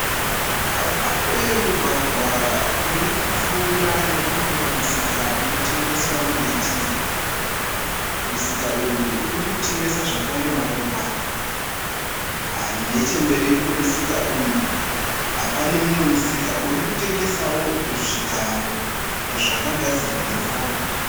Pane mugwagwa uri kupfuura nepane umwe musika unotengeswa miti. Musika uyu uri kutengesa zvekare maruva. Nechekumberi kwemusika uyu, pane umwe musika uri kutengesawo zvigaro zvakagadzirwa netsanga.